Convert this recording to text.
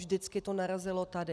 Vždycky to narazilo tady.